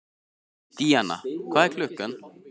Díanna, hvað er klukkan?